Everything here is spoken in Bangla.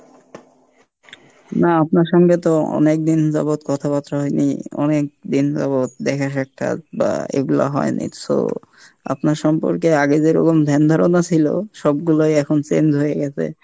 নাহ আপনার সঙ্গে তো অনেকদিন যাবৎ কথা বার্তা হয়নি, অনেকদিন যাবৎ দেখা সাক্ষাৎ বা এইগুলা হয়নি so আপনার সম্পর্কে আগে যে ধ্যান ধারণা ছিল সব গুলাই এখন change হয়ে গেছে।